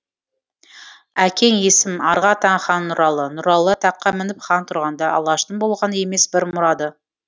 әкең есім арғы атаң хан нұралы нұралы таққа мініп хан тұрғанда алаштың болған емес бір мұрады